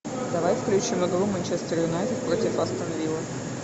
давай включим игру манчестер юнайтед против астон виллы